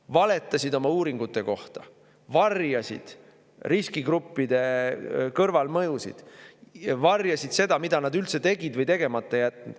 Valetasid oma uuringute kohta, varjasid riskigruppide kõrvalmõjusid, varjasid seda, mida nad üldse tegid või tegemata jätnud.